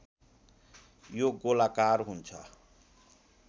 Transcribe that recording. यो गोलाकार हुन्छ